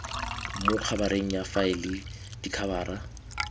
mo khabareng ya faele dikhabara